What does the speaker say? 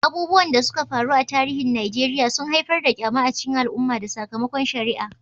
Abubuwan da suka faru a tarihin Najeriya sun haifar da ƙyama a cikin al'umma da sakamakon shari'a.